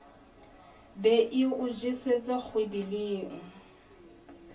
be e o jesetse kgwebeleng